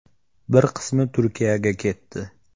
Bir qismi Turkiyaga ketdi.